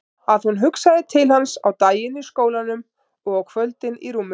Að hún hugsaði til hans á daginn í skólanum og á kvöldin í rúminu.